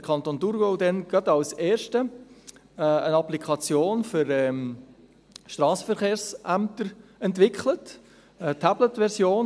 Der Kanton Thurgau hatte damals als erster eine Applikation für Strassenverkehrsämter entwickelt, eine Tabletversion.